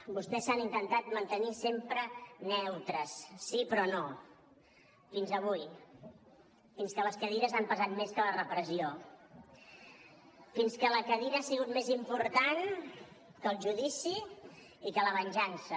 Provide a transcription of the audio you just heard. vostès s’han intentat mantenir sempre neutres sí però no fins avui fins que les cadires han pesat més que la repressió fins que la cadira ha sigut més important que el judici i que la venjança